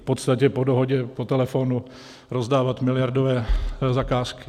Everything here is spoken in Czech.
V podstatě po dohodě, po telefonu rozdávat miliardové zakázky.